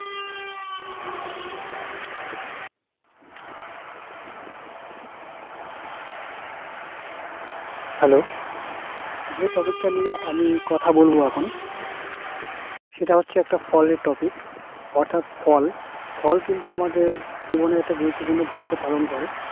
Hello যে topic টা নিয়ে আমি কথা বলবো এখন সেটা হচ্ছে একটা ফলের topic অর্থাৎ ফল। ফল কিন্তু আমাদের জীবনে একটা গুরুত্বপূর্ণ ভূমিকা পালন করে।